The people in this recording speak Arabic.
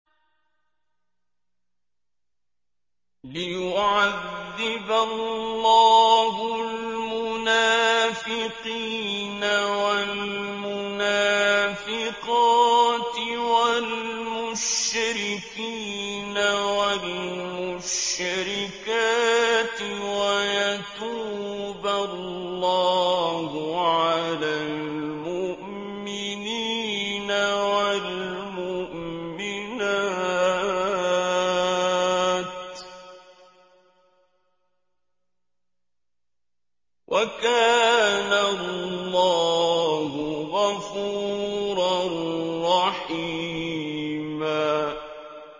لِّيُعَذِّبَ اللَّهُ الْمُنَافِقِينَ وَالْمُنَافِقَاتِ وَالْمُشْرِكِينَ وَالْمُشْرِكَاتِ وَيَتُوبَ اللَّهُ عَلَى الْمُؤْمِنِينَ وَالْمُؤْمِنَاتِ ۗ وَكَانَ اللَّهُ غَفُورًا رَّحِيمًا